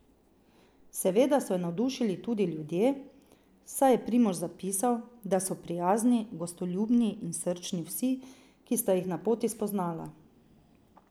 Seveda so ju navdušili tudi ljudje, saj je Primož zapisal, da so prijazni, gostoljubni in srčni vsi, ki sta jih na poti spoznala.